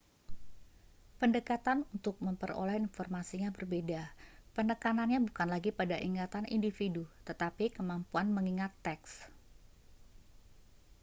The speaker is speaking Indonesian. pendekatan untuk memperoleh informasinya berbeda penekanannya bukan lagi pada ingatan individu tetapi kemampuan mengingat teks